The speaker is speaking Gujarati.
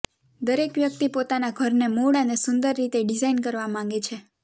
દરેક વ્યક્તિ પોતાના ઘરને મૂળ અને સુંદર રીતે ડિઝાઇન કરવા માંગે છે